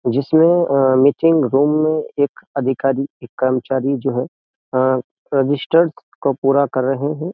जिसमें meeting room में एक अधिकारी एक कर्मचारी जो है रजिस्टर्स को पूरा कर रहे हैं।